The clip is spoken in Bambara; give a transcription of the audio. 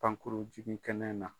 Pankurun jigin kɛnɛ na.